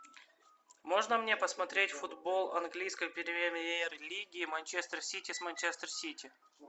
можно мне посмотреть футбол английской премьер лиги манчестер сити с манчестер сити